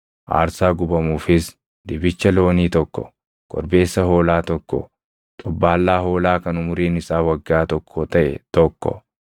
aarsaa gubamuufis dibicha loonii tokko, korbeessa hoolaa tokko, xobbaallaa hoolaa kan umuriin isaa waggaa tokko taʼe tokko,